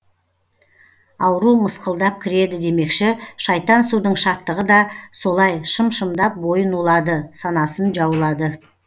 ауру мысқылдап кіреді демекші шайтан судың шаттығы да солай шым шымдап бойын улады санасын жаулады